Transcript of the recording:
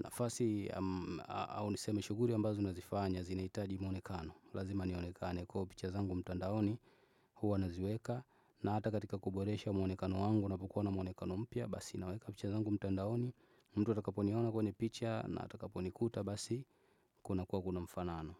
Nafasi, au niseme shuguli ambazo nazifanya, zinahitaji mwonekano, lazima nionekane kwa hiyo picha zangu mtandaoni, huwa naziweka, na hata katika kuboresha mwonekano wangu napokuwa na mwonekano mpya, basi naweka picha zangu mtandaoni. Mtu atakaponiona kwenye picha na atakaponikuta basi kuna kwa kuna mfanano.